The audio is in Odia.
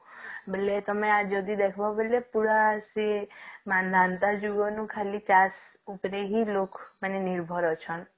ବୋଲେ ତଆମେ ଯଦି ଏଖବ ବୋଲେ ପୁରା ସିଏ ମାନନ୍ଦା ଯୁଗ ନୁ ଖାଲି ଚାଷ ଉପରେ ହିଁ ଲୋକ ମାନେ ନିର୍ଭର ଅଛନ